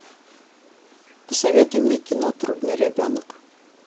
посоветуй мне кино трудный ребенок